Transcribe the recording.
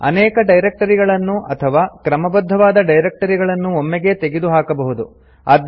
ಅನೇಕ ಡೈರಕ್ಟರಿಗಳನ್ನು ಅಥವಾ ಕ್ರಮಬದ್ಧವಾದ ಡೈರಕ್ಟರಿಗಳನ್ನು ಒಮ್ಮೆಗೇ ತೆಗೆದುಹಾಕಬಹುದು